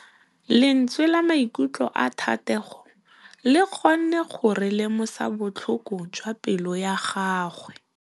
Lentswe la maikutlo a Thategô le kgonne gore re lemosa botlhoko jwa pelô ya gagwe.